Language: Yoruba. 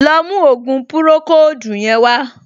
Lọ mú ògùn pùròkóòdù yẹn wá!